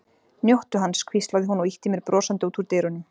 Njóttu hans, hvíslaði hún og ýtti mér brosandi út úr dyrunum.